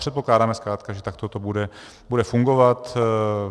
Předpokládáme zkrátka, že takto to bude fungovat.